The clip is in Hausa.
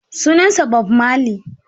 Sunansa Bob marley.